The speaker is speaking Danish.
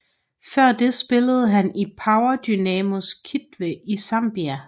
Før det spillede han i Power Dynamos Kitwe i Zambia